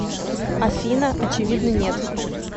афина очевидно нет